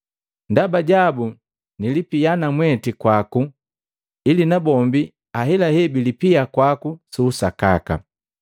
Ndaba jabu nilipia namweti kwaku, ili na bombi ahelahe bilipia kwaku su usakaka.”